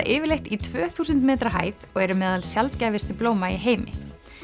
yfirleitt í tvö þúsund metra hæð og eru meðal sjaldgæfustu blóma í heimi